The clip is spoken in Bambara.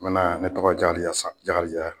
N ne tɔgɔ Jakarija